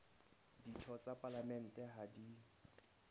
ditho tsa palamente ha di